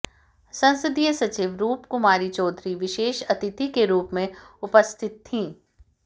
संसदीय सचिव रूपकुमारी चौधरी विशेष अतिथि के रूप में उपस्थित थीं